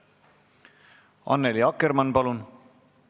Annely Akkermann, palun!